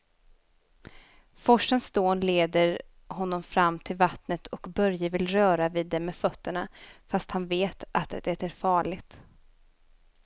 Forsens dån leder honom fram till vattnet och Börje vill röra vid det med fötterna, fast han vet att det är farligt.